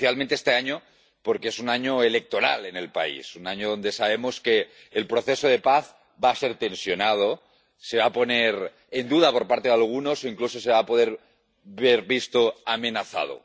Especialmente este año, porque es un año electoral en el país, un año donde sabemos que el proceso de paz va a ser tensionado, se va a poner en duda por parte de algunos, e incluso se va a poder ver amenazado.